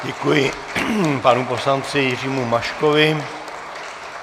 Děkuji panu poslanci Jiřímu Maškovi.